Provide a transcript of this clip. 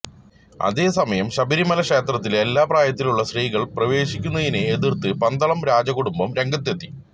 അതേസമയം ശബരിമല ക്ഷേത്രത്തിൽ എല്ലാ പ്രായത്തിലുമുള്ള സ്ത്രീകൾ പ്രവേശിക്കുന്നതിനെ എതിർത്ത് പന്തളം രാജകുടുംബം രംഗത്തെത്തി